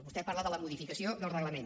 vostè parla de la modificació del reglament